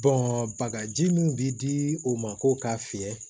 bagaji min bi di o ma ko k'a fiyɛ